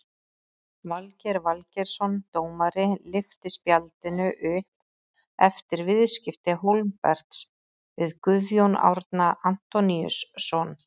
Valgeir Valgeirsson dómari lyfti spjaldinu upp eftir viðskipti Hólmberts við Guðjón Árna Antoníusson.